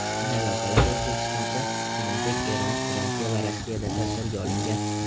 Kinolavhalar O‘zbekistonda, shuningdek, Eron, Fransiya va Rossiyada tasvirga olingan.